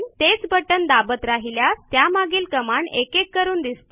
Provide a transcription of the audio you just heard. तेच बटण दाबत राहिल्यास त्यामागील कमांड एकेक करून दिसतील